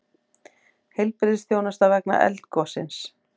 Heilbrigðisþjónusta vegna eldgossins